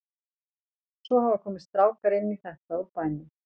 Svo hafa komið strákar inn í þetta úr bænum.